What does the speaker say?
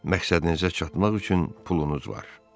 Məqsədinizə çatmaq üçün pulunuz var.